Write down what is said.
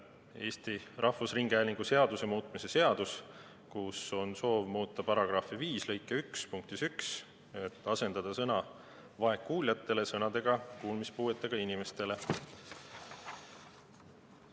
Eesti Rahvusringhäälingu seaduse muutmise seaduses on soov muuta § 5 lõike 1 punkti 1, kus asendada sõna "vaegkuuljatele" sõnadega "kuulmispuuetega inimestele".